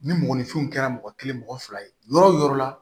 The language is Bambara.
Ni mɔgɔninfinw kɛra mɔgɔ kelen mɔgɔ fila ye yɔrɔ o yɔrɔ la